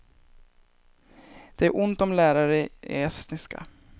Det är ont om lärare i estniska.